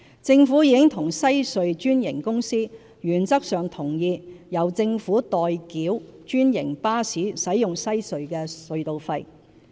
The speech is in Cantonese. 政府已與西隧專營公司原則上同意由政府代繳專營巴士使用西隧的隧道費。